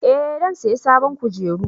Eh zan saya sabon kujeru